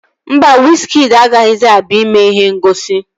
Mba, wizkịdi agaghịzi abịa ime ihe ngosi